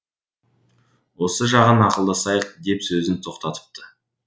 осы жағын ақылдасайық деп сөзін тоқтатыпты